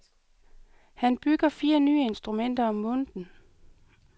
Han bygger fire nye instrumenter om måneden.